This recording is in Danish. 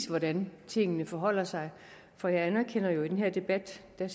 hvordan tingene forholder sig for jeg anerkender jo at det i den her debat ser